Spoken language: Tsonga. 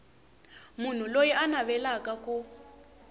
munhu loyi a navelaka ku